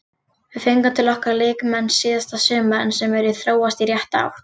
Við fengum til okkar leikmenn síðasta sumar sem eru að þróast í rétta átt.